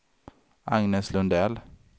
Agnes Lundell